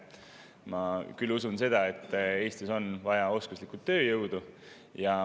Ma küll usun seda, et Eestis on vaja oskuslikku tööjõudu.